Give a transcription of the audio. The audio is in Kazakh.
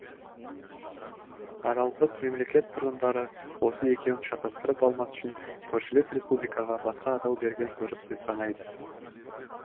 аралдық мемлекет тұрғындары осы екеуін шатастырып алмас үшін көршілес республикаға басқа атау берген дұрыс деп санайды